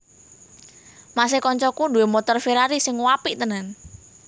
Mas e koncoku duwe montor Ferrari sing uapik tenan